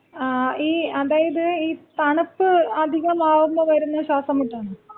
ഈ അതായത് ഈ തണുപ്പ് അധികമാവുമ്പോ വരുന്ന ശ്വാസമുട്ടാണോ?